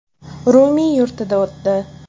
Rumiy yurtida o‘tdi.